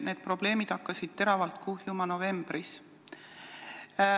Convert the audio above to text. Need probleemid hakkasid teravalt kuhjuma novembris.